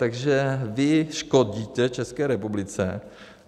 Takže vy škodíte České republice.